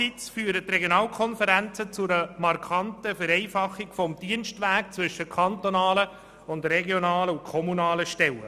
Andererseits führen die Regionalkonferenzen zu einer markanten Vereinfachung des Dienstwegs zwischen kantonalen, regionalen und kommunalen Stellen.